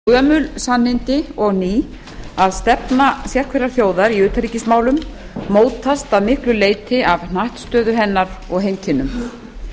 frú forseti það eru gömul sannindi og ný að stefna sérhverrar þjóðar í utanríkismálum mótast að miklu leyti af hnattstöðu hennar og heimkynnum